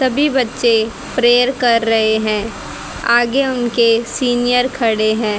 सभी बच्चे प्रेयर कर रहे हैं आगे उनके सीनियर खड़े हैं।